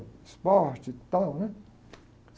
Esporte, e tal, né?